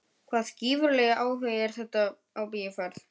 Hvaða gífurlegi áhugi er þetta á bíóferð?